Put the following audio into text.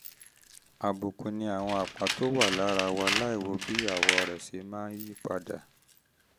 àbùkù ni àwọn àpá tó wà lára wa láìwo bí àwọ̀ rẹ̀ ṣe máa yí padà